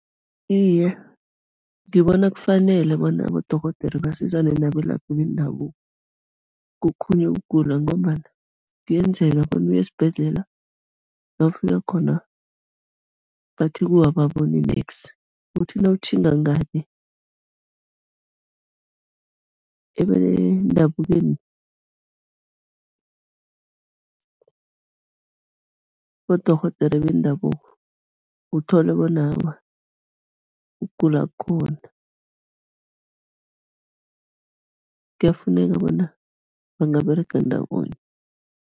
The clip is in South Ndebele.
Iye, ngibona kufanele bona abodorhodere basizane nabelaphi bendabuko kokhunye ukugula ngombana kuyenzeka bona uye esibhedlela, nawufika khona bathi kuwe aboboni neksi, uthi nawutjhinga ngale ebendabukweni, abodorhodere bendabuko, uthole bona awa, ukugula kukhona, kuyafuneka bona bangaberega ndawonye.